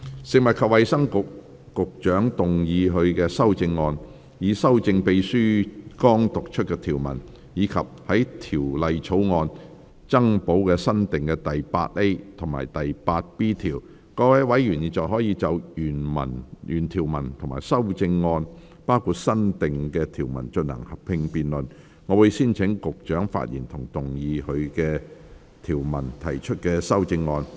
食物及衞生局局長會動議她的修正案，以修正秘書剛讀出的條文，以及在條例草案增補新訂的第 8A 及 8B 條。各位委員現在可以就原條文及修正案進行合併辯論。我會先請局長發言及動議她就條文提出的修正案。